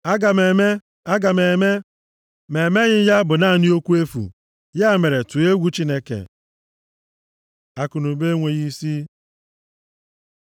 Aga m eme, aga m eme, ma e meghị ya bụ naanị okwu efu. Ya mere, tụọ egwu Chineke. Akụnụba enweghị isi